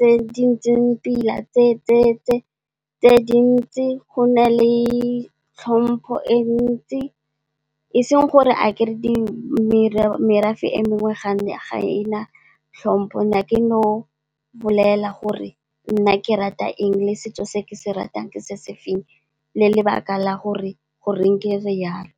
tse di ntseng pila, tse dintsi, go na le tlhompho e ntsi, e seng gore ga kere merafe e mengwe ga ena tlhompho na ke no bolella gore nna ke rata eng le setso se ke se ratang ke se se feng le lebaka la gore goreng ke re yalo.